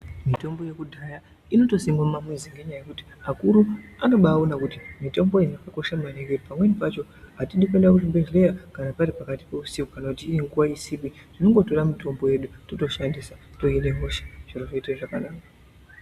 Mitombo yekudhaya inotosimwa mumamizi ngenyaya yekuti akuru anobaaona kuti mitomboyo yakakosha maningi. Pamweni pacho atidi kuenda kuzvibhedhleya kana pari pakati peusiku kana nguwa isipi, tinondotora mutombo yedu, totoishandisa, tohine hosha ,zviro zvoite zvakanaka.